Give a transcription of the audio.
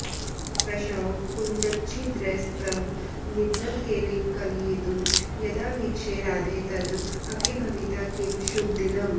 दृशौ कुञ्जच्छिद्रैस्तव निभृतकेलिं कलयितुं यदा वीक्षे राधे तद् अपि भविता किं शुभदिनम्